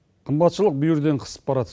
қымбатшылық бүйірден қысып барады